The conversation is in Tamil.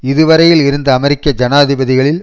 இது வரையில் இருந்த அமெரிக்க ஜனாதிபதிகளில்